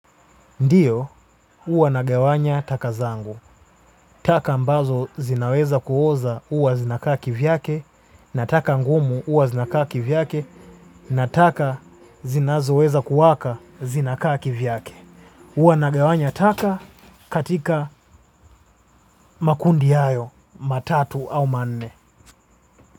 Ndiyo huwa nagawanya taka zangu. Taka ambazo zinaweza kuoza huwa zinakaa kivi yake na taka ngumu huwa zinakaa kivi yake na taka zinazoweza kuwaka zinakaa kivi yake. Huwa nagawanya taka katika makundi hayo matatu au manne.